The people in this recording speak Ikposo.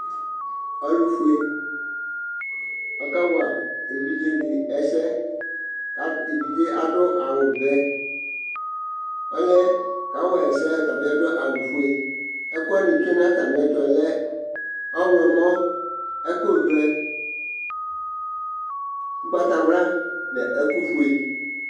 Ɔlʋfue, ɔkawa evidze dɩ ɛsɛ, kʋ evidze yɛ adʋ awʋvɛ Ɔlʋ yɛ kawayɩ esɛ yɛ ɔtabɩ adʋ awʋfue Ɛkʋ wanɩ tsʋe nʋ atamɩ ɛtʋ yɛ lɛ ɔɣlɔmɔ, ɛkʋvɛ ugbatawla nʋ ɛkʋfue